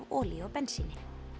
olíu og bensíni